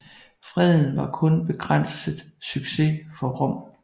Freden var kun begrænset succes for Rom